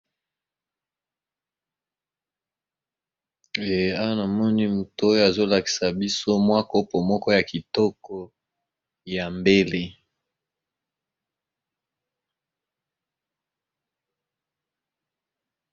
Awa namoni mutu azo lakisa biso mwa Kopo moko ya kitoko ya mbele.